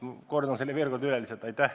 Kordan selle siis lihtsalt veel kord üle.